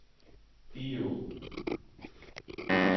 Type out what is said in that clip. Egå